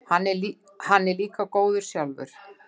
Hann er líka góður sjálfur.